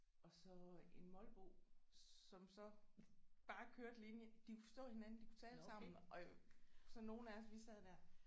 Og så en molbo som så bare kørte lige ind de kunne forstå hinanden de kunne tale sammen og så nogle af os vi sad der